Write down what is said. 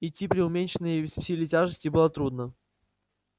идти при уменьшенной силе тяжести было трудно